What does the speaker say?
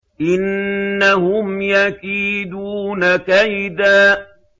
إِنَّهُمْ يَكِيدُونَ كَيْدًا